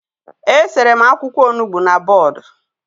E sere m akwụkwọ Onugbu na bọọdụ